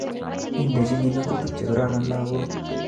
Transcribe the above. Idechin ngo'tutik chekororon lakok